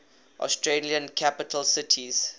australian capital cities